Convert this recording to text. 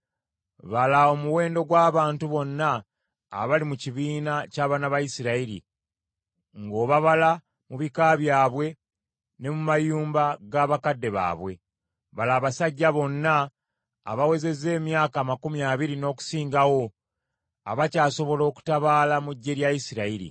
“Bala omuwendo gw’abantu bonna abali mu kibiina ky’abaana ba Isirayiri, ng’obabala mu bika byabwe ne mu mayumba ga bakadde baabwe. Bala abasajja bonna abawezezza emyaka amakumi abiri n’okusingawo abakyasobola okutabaala mu ggye lya Isirayiri.”